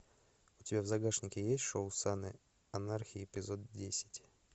у тебя в загашнике есть шоу сыны анархии эпизод десять